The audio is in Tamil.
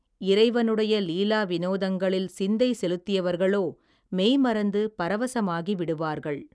இறைவனுடைய லீலா வினோதங்களில் சிந்தை செலுத்தியவர்களோ மெய்மறந்து பரவசமாகி விடுவார்கள்.